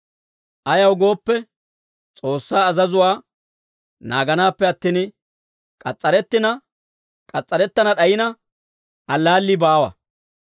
Ayaw gooppe, S'oossaa azazuwaa naaganaappe attin, k'as's'arettina k'as's'arettana d'ayina allaallii baawa.